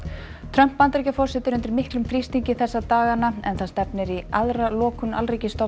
Trump Bandaríkjaforseti er undir miklum þrýstingi þessa dagana en það stefnir í aðra lokun